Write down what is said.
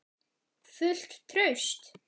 Fullt traust?